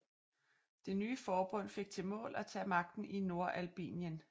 Det nye forbund fik til mål at tage magten i Nordalbingien